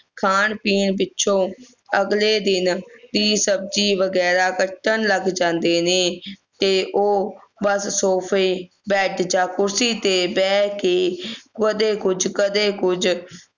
ਖਾਣ ਪੀਣ ਪਿੱਛੋਂ ਅਗਲੇ ਦਿਨ ਦੀ ਸਬਜ਼ੀ ਵਗੈਰਾ ਅਗਲੇ ਦਿਨ ਕੱਟਣ ਲੱਗ ਜਾਂਦੇ ਨੇ ਤੇ ਉਹ sofa bed ਯਾਰ ਕੁਰਸੀ ਤੇ ਬਹਿ ਕੇ ਕਦੇ ਕੁਝ ਕਦੇ ਕੁਝ